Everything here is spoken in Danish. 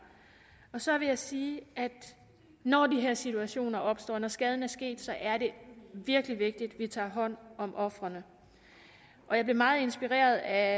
så vil jeg sige at når de her situationer opstår når skaden er sket så er det virkelig vigtigt at vi tager hånd om ofrene og jeg blev meget inspireret af